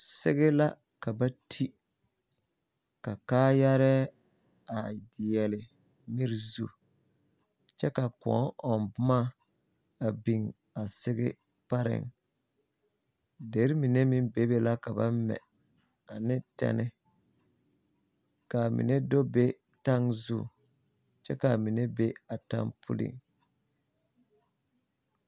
sege la ka ba ti ka kaayare a deɛle miri zu kyɛ ka kõɔ ɔŋ boma a sege pareŋ dere mine meŋ be be la ne tɛnne ka a mine do be taŋzu kyɛ ka amine be a taŋ pulliŋ.